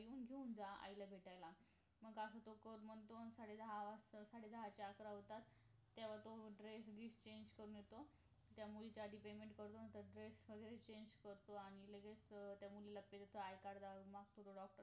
येऊन घेऊन जा आईला भेटायला मग असं तो म्हणतो सडे दहा सडे दहाचे अकरा होतात तेव्हा तो dress change करून येतो त्या मुलीचं अधी payment करून dress change करतो आणि त्या मुलीला लगेच i card द मागतो